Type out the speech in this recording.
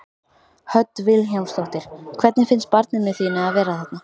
Hödd Vilhjálmsdóttir: Hvernig finnst barninu þínu að vera þarna?